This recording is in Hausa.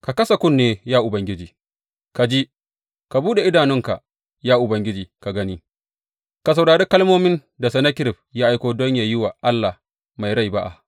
Ka kasa kunne, ya Ubangiji, ka ji; ka buɗe idanunka ya Ubangiji ka gani; ka saurari kalmomin da Sennakerib ya aiko don yă yi wa Allah mai rai ba’a.